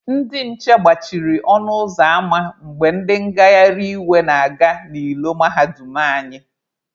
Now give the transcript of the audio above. Ndị nche gbachiri ọnụ ụzọ ama mgbe ndị ngagharị iwe na-aga n'ilo mahadum anyị.